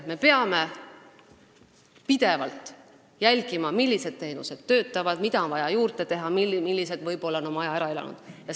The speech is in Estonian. Me peame pidevalt jälgima, millised teenused töötavad, mida on vaja juurde teha ja millised asjad on võib-olla oma aja ära elanud.